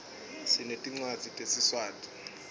sinetincwadzi tesiswati